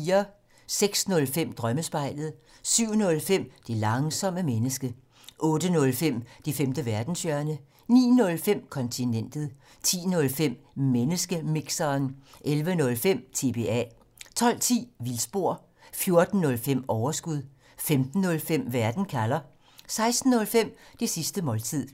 06:05: Drømmespejlet 07:05: Det langsomme menneske 08:05: Det femte verdenshjørne 09:05: Kontinentet 10:05: Menneskemixeren 11:05: TBA 12:10: Vildspor 14:05: Overskud 15:05: Verden kalder 16:05: Det sidste måltid